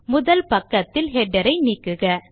முதல் பக்கத்தில் ஹெடர் ஐ நீக்குக